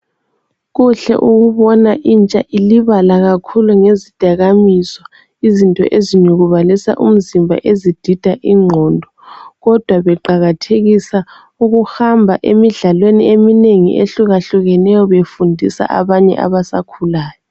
Kuhle ukubona intsha ilibala kakhulu ngezidakamizwa, izinto ezinyukubalisa umzimba, ezidida ingqondo kodwa beqakathekisa ukuhamba emidlalweni eminengi ehlukahlukeneyo befundisa abanye abasakhulayo.